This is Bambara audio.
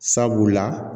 Sabula